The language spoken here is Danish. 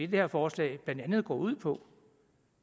det her forslag blandt andet går ud på